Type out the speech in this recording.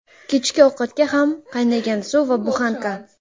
Kechki ovqatga ham qaynagan suv va buxanka.